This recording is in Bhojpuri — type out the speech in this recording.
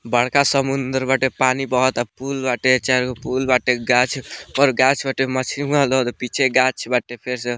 बड़का समुन्द्र बाटे पानी बहता पूल बाटे चारगो पूल बाटे गाछ पर गाछ बाटे मछली उहाँ पीछे गाछ बाटे फिर से --